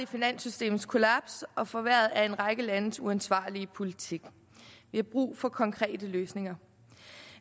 finanssystemets kollaps og forværret af en række landes uansvarlige politik vi har brug for konkrete løsninger